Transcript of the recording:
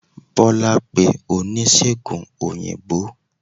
bola pe onisegùn oyinbo